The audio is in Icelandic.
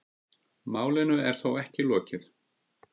Málinu er þó ekki lokið.